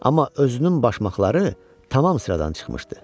Amma özünün başmaqları tamam sıradan çıxmışdı.